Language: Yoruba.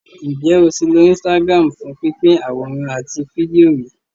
Ǹjẹ́ o ti lo Instagram fún pínpín àwòrán àti fídíò rí?